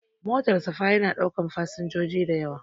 Motar safa ya na ɗaukan fasinjoji da yawa